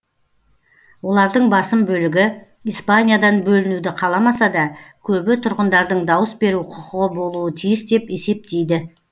олардың басым бөлігі испаниядан бөлінуді қаламаса да көбі тұрғындардың дауыс беру құқығы болуы тиіс деп есептейді